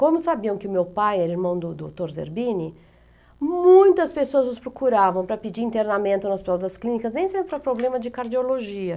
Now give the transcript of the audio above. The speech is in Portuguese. Como sabiam que o meu pai era irmão do doutor Zerbini, muitas pessoas os procuravam para pedir internamento no hospital das clínicas, nem sempre para problema de cardiologia.